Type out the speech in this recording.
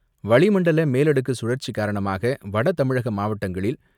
வளிமண்டல மேலடுக்கு சுழற்சி காரணமாக வடதமிழக மாவட்டங்களில்